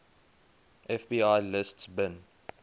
fbi lists bin